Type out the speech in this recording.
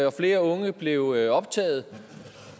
og flere unge blev optaget